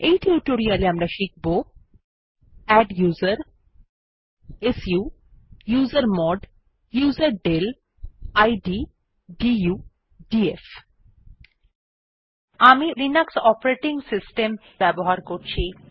এই টিউটোরিয়াল এ আমরা শিখব adduser su usermod userdel id du df আমি এই টিউটোরিয়াল এ লিনাক্স অপারেটিং সিস্টেম ব্যবহার করছি